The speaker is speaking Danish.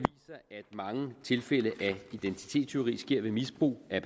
mange tilfælde af identitetstyveri sker ved misbrug af